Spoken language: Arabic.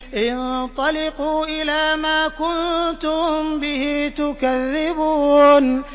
انطَلِقُوا إِلَىٰ مَا كُنتُم بِهِ تُكَذِّبُونَ